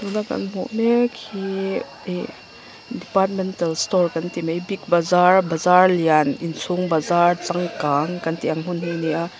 tuna kan hmuh mek hi ih departmental store kan ti mai big bazaar bazaar lian inchhung bazaar changkang kan tih ang hmun hi a ni a.